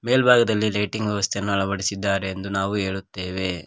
ಮೇಲ್ಭಾಗದಲ್ಲಿ ಲೈಟಿಂಗ್ ವ್ಯವಸ್ಥೆಯನ್ನು ಅಳವಡಿಸಿದ್ದಾರೆ ಎಂದು ನಾವು ಹೇಳುತ್ತೇವೆ.